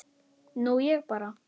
Nú ég bara.